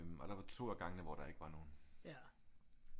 Og der var 2 af gangene hvor der ikke var nogle